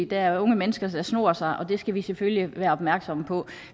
der er unge mennesker der snor sig dér skal vi selvfølgelig være opmærksomme på